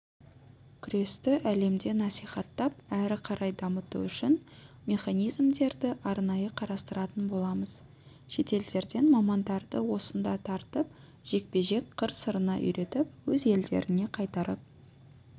күресті әлемде насихаттап ары қарай дамыту үшін механизмдерді арнайы қарастыратын боламыз шетелдерден мамандарды осында тартып жекпе-жек қыр-сырына үйретіп өз елдеріне қайтарып